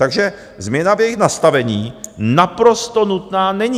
Takže změna v jejich nastavení naprosto nutná není.